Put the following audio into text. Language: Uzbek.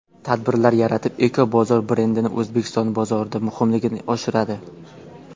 Tadbirlar yaratib Eco Bozor brendini O‘zbekiston bozorida muhimligini oshirishadi.